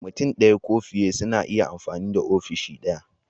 Mutum ɗaya ko fiye suna iya amfani da ofishi ɗaya.